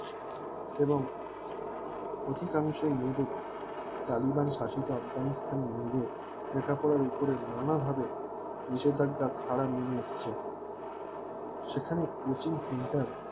এবং অধিকাংশ মেয়েদের টালিবন্ শাসিত আফগানিস্তান মেয়েদের লেখাপড়ার উপরে নানাভাবে নিশেধাঞ্জা খাড়া মনে হচ্ছে সেখানে প্রচুর center